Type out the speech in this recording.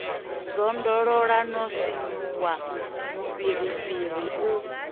zwondolola no sinvuwa mufhirifhiri u